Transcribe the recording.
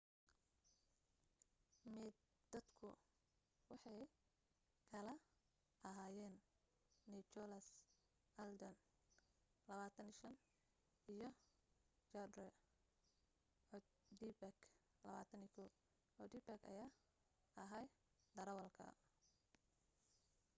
maydadku waxay kala ahaayeen nicholas alden 25 iyo zachary cuddebak,21. cuddeback ayaa ahaa darawalka